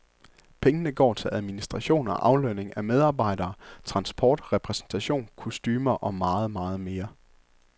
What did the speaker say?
Pengene går til administration og aflønning af medarbejdere, transport, repræsentation, kostumer og meget, meget mere.